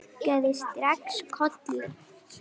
Ég kinkaði strax kolli.